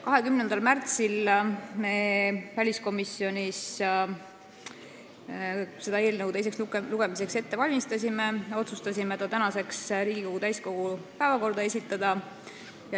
20. märtsil, kui me väliskomisjonis seda eelnõu teiseks lugemiseks ette valmistasime, otsustasime esitada selle tänaseks Riigikogu täiskogu päevakorda.